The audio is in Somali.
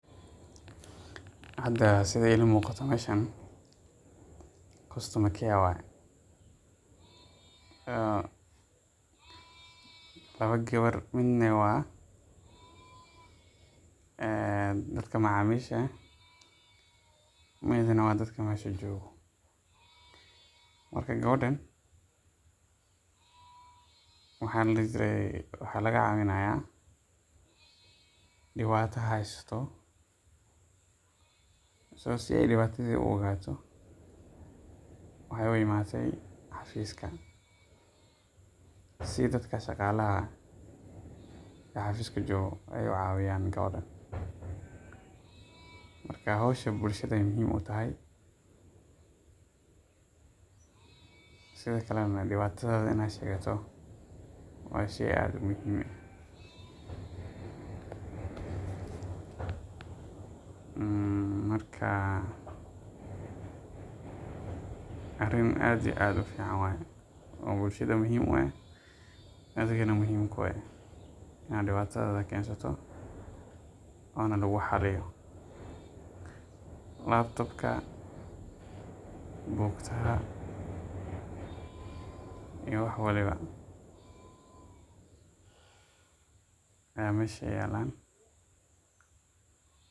Hada sida iiga muuqato meeshan customer care waye, laba gabar midna waa dadka macamisha midna waa dadka meesha joogo, marka gabadhan waxaa laga cabinaaya, waxaay u imaate xafiiska si dadka shaqaalaha oo xafiiska joogo aay ucawiyan gabadhan, howshan bulshada ayeey muhiim utahay, waa sheey aad muhiim u ah, marka arin aad iyo ufican waye oo bulshada muhiim ah adhigana muhiim kuu ah, laptop buukta, wax walbo ayaa meesha yaalan.